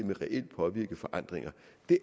det